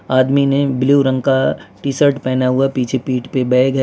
आदमी ने ब्लू रंग का टी शर्ट पहना हुआ पीछे पीठ पे बैग है।